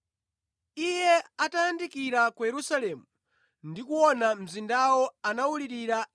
Iye atayandikira ku Yerusalemu ndi kuona mzindawo, anawulirira